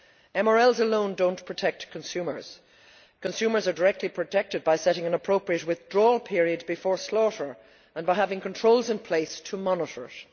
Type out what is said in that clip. MRLs alone do not protect consumers. Consumers are directly protected by setting an appropriate withdrawal period before slaughter and by having controls in place to monitor it.